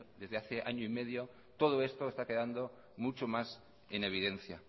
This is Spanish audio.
desde hace año y medio todo esto está quedando mucho más en evidencia